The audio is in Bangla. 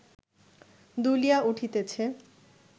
দুলিয়া উঠিতেছে